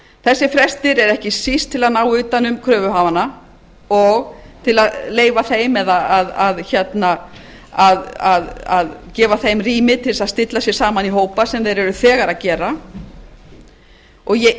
þessir frestir eru ekki síst til að ná utan um kröfuhafana og til að leyfa þeim eða gefa þeim rými til þess að stilla sig saman í hópa sem þeir eru þegar að gera ég